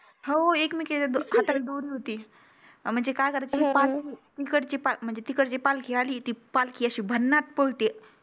हो एकमेकिंच्या द अं हाताला दोरी होती अं म्हणजे त्या इकडची म्हंजी तिकडची पालखी अली ती पालखी अशी भन्नाट पळती